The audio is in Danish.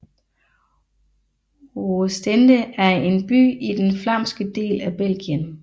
Oostende er en by i den flamske del af Belgien